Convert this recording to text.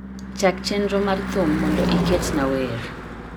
Chak chenro mar thum mondo iketnaa wer